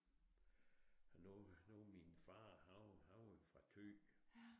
Nu nu min far han han var fra Thy